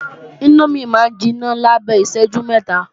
Índómì máa ń jiná lábẹ́ ìṣẹ́jú mẹ́ta